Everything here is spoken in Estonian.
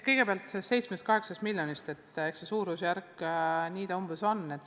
Kõigepealt sellest 7–8 miljonist – eks see suurusjärk umbes säärane on.